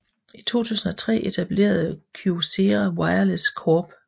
I 2003 etablerede Kyocera Wireless Corp